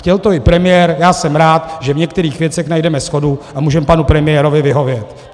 Chtěl to i premiér, já jsem rád, že v některých věcech najdeme shodu a můžeme panu premiérovi vyhovět.